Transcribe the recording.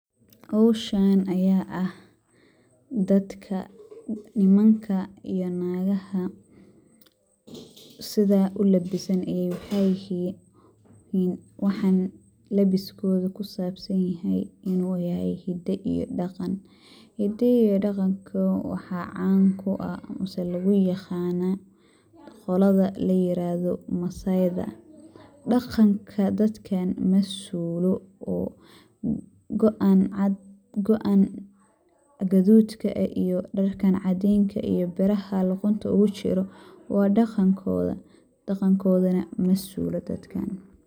Howshaan ayaa ah dadka nimanka iyo naagaha sida ulebesan ayaa waxaa yihiin, waxaan lebeskooda ku saabsanyahay in uu yahay hidda iyo dhaqan. Hidda iyo dhaqanka waxaa caan ku ah mise lugu yiqaana qolada layirahdo maasayida. Dhaqanka dadka ma suulo oo go'an cad go'an guduudka eh iyo dharkan cadiinka iyo biraha luqunta ugu jiro waa dhaqankooda. Dhaqankoodana ma suulo dadkan.